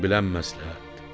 Özün bilən məsləhətdir!